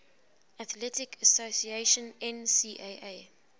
athletic association ncaa